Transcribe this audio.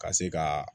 Ka se ka